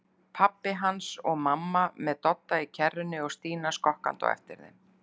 Pabbi hans og mamma með Dodda í kerrunni og Stína skokkandi á eftir þeim.